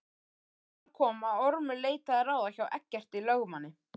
Þar kom að Ormur leitaði ráða hjá Eggerti lögmanni